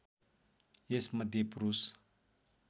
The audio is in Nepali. यसमध्ये पुरुष